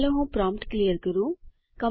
ચાલો હું prompt clear કરું